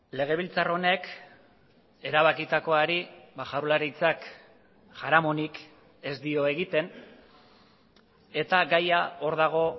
legebiltzar honek erabakitakoari jaurlaritzak jaramonik ez dio egiten eta gaia hor dago